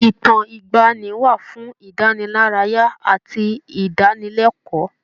Ìtàn ìgbaanì wà fún ìdánilárayá àti ìdánilẹ́kọ̀ọ́.